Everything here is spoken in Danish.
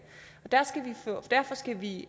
og derfor skal vi